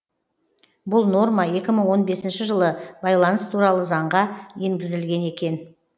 бұл норма екі мың он бесінші жылы байланыс туралы заңға енгізілген екен